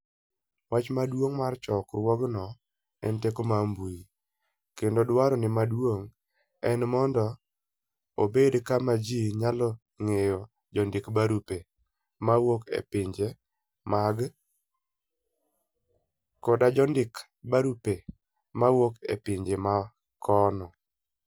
Wach maduong ' mar chokruogno en "Teko mar mbui", kendo dwarone maduong ' en mondo obed kama ji nyalo ng'eyoe jondik - barupe mawuok e pinje mag Caribbea koda jondik - barupe mawuok e pinje ma kuno.